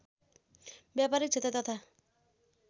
ब्यापारिक क्षेत्र तथा